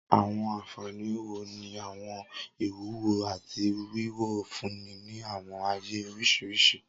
Awọn anfani wo ni awọn iwuwo ati wiwọn nfunni ni awọn aaye oriṣiriṣi?